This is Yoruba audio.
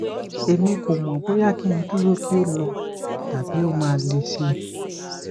emi ko mo boya ki n duro ki o lo tabi o ma le si